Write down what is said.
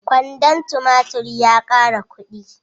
Kwandon tumatur ya ƙara kuɗi.